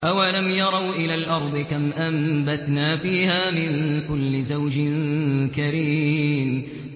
أَوَلَمْ يَرَوْا إِلَى الْأَرْضِ كَمْ أَنبَتْنَا فِيهَا مِن كُلِّ زَوْجٍ كَرِيمٍ